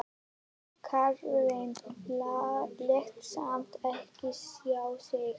Karlinn lét samt ekki sjá sig.